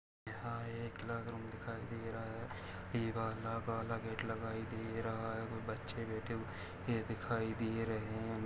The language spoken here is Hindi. यहाँ एक क्लास रूम दिखाई दे रहा है एक काला गेट लगा दिखाई दे रहा है और बच्चे बैठे हुए दिखाई दे रहे है।